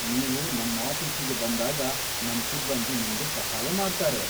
ನೀವು ನಮ್ಮಾಫೀಸಿಗೆ ಬಂದಾಗ ನಮ್ ಸಿಬ್ಬಂದಿ ನಿಮ್ಗೆ ಸಹಾಯ ಮಾಡ್ತಾರೆ.